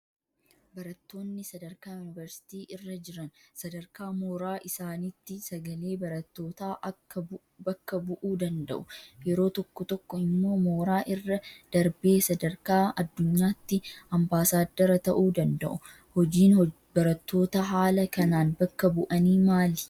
Barattoonni sadarkaa yuunivarsiitii irra jiran sadarkaa mooraa isaaniitti sagalee barattootaa bakka bu'uu danda'u. Yeroo tokko tokko immoo mooraa irra darbee sadarkaa addunyaatti ambaasaaddara ta'uu danda'u. Hojiin barattoota haala kanaan bakka bu'anii maali?